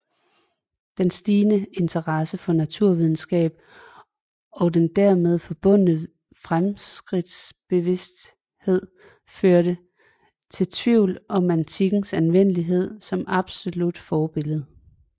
Den stigende interesse for naturvidenskab og den dermed forbundne fremskridtsbevidsthed førte til tvivl om antikkens anvendelighed som absolut forbillede